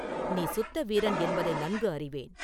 நீ சுத்த வீரன் என்பதை நன்கு அறிவேன்.